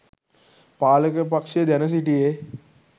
පාලක පක්‍ෂය දැන සිටියේ